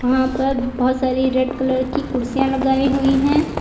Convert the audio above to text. वहां पर बहोत सारी रेड कलर की कुर्सियां लगाई हुई है।